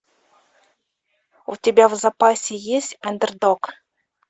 у тебя в запасе есть андердог